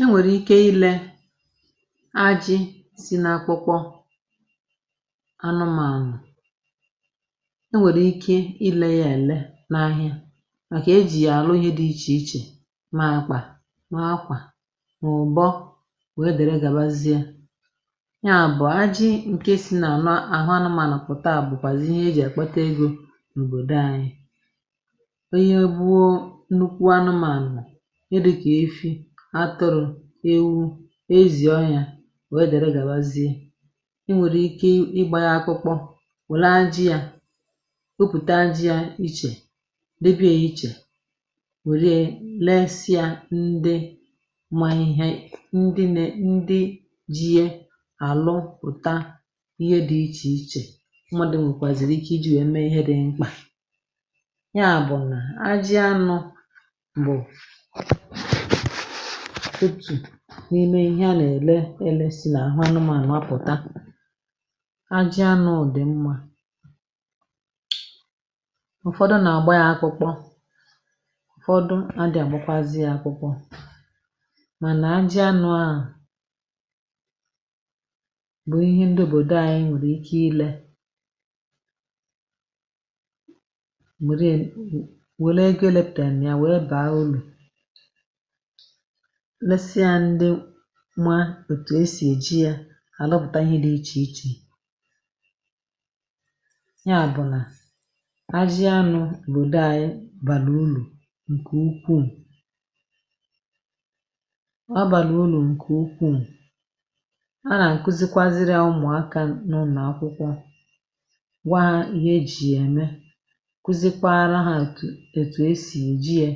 E nwèrike ile ajị̇ si n’akpụkpọ anụmànụ̀, e nwèrike ile ya ele n’ahịa màkà ejì yà àlụ ihe dị ichè ichè ma akpa, ma akwà mà ụ̀bọ wèe dere gabazie. Nya bụ̀ ajị ǹke si nanụ n’àhụ anụmànụ̀ pụ̀ta à bụ̀kwàzi ihe eji àkpata egȯ nobodo anyị. Onye gbuo nnukwu anụmànụ̀ ihe dịkà efi, atụrụ̀, ewu, ezì ọhịà òwe derè gàwazie. I nwèrike ịgbȧ yȧ akpụkpọ wèlá ajị yȧ topùta ajị yȧ ichè debie ichè wèriè lesịa ndị ma ihe ndị nè ndị ji yė àlụ pụ̀ta ihe dị ichè ichè mmadụ̀ nwèkwàzìrì ike iji̇ wee mee ihe dị mkpà. Nya bụ̀na ajị anụ bụ otù n’ime ihe a nà-èle ele si n’àhụ anụmȧnụ apụ̀ta. Ajị anụ ụdị mmȧ. Ụfọdụ nà-agbȧ ya akpụkpọ, ụ̀fọdụ adị̀ àgbakwazị ya akpụkpọ. Mànà ajị anụ à bụ̀ ihe ndịobòdo ànyị nwèrè ike ile um wele ego eleptanịa wee bàa ulu lesịa ndị ma otu esi ejie àlụpụta ihe dị̇ ichè ichè. Nya bụ̀ nà ajị anụ̇ lụ̀dè anyị bàlu ulu ǹkè ukwuù ọ bàlà ụlọ̀ ǹkè ukwuù. A nà akụzikwazịrị a ụmụ̀aka n’ụnọ̀ akwụkwọ gwa ha ihe e ji ya eme, kụzikwara ha ot ètù e sì èji yė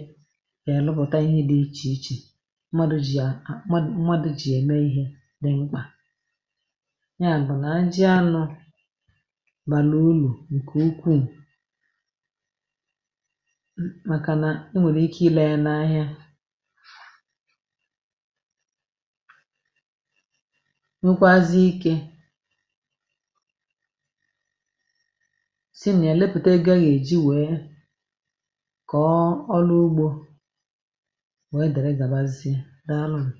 wee lụpụ̀ta ihe dị̇ ichè ichè mmadụ̇ jì à mmadụ̇ mmadụ̇ jì ème ihe dị mkpà. Nya bụ̀ nà àjị anụ̇ bàlà ùlò ǹkè ukwuù m màkà nà e nwèlike ile yȧ n’ahịa nwekwaazị ike si nịà lụpụ̀ta ego eyèji wee kọ̀ọ ọlụ ugbȯ wee dèrè gàbazie, dàalụnụ.